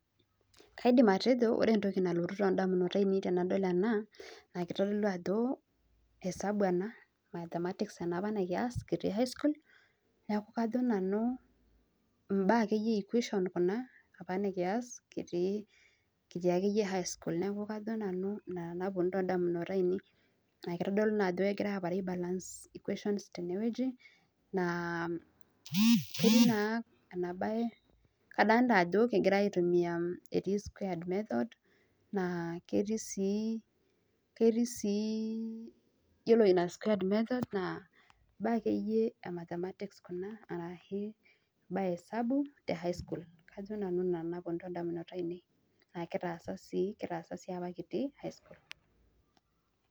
kaidim atejo ore entoki nalotu idamunot ainei tenadol ena naa esabu ena baa akeyie ee equations akeyie kuna nikiyas apa kitii high school ,naa kitodolu ajo kegira aitodolu ajo ibaa akeyie ehesabu kuna kitii high school.